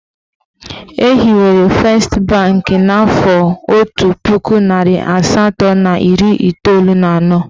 Ehiwere fest banki n'afọ otu puku narị asatọ na iri iteolu na anọ.